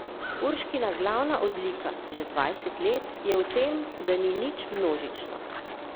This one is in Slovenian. Urškina glavna odlika, že dvajset let, je v tem, da ni nič množično.